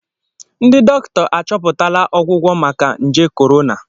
Ndị dọkịta achọpụtala ọgwụgwọ maka nje korona